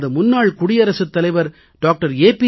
நமது முன்னாள் குடியரசுத் தலைவர் டாக்டர் ஏ